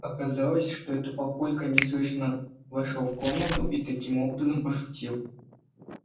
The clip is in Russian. оказалось что это папулька неслышно вошёл в комнату и таким образом пошутил